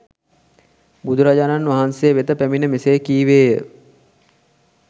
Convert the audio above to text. බුදුරජාණන් වහන්සේ වෙත පැමිණ මෙසේ කීවේය